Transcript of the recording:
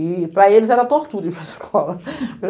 E, para eles, era tortura ir para aescola.